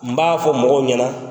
N b'a fɔ mɔgɔw ɲɛ na